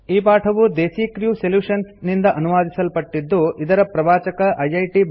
ಈ ಪಾಠವು Desi crew solutions ನಿಂದ ಅನುವಾದಿಸಲ್ಪಟ್ಟಿದ್ದು ಇದರ ಪ್ರವಾಚಕ ಐಐಟಿ